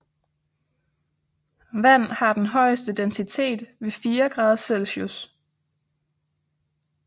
Vand har den højeste densitet ved 4 grader Celcius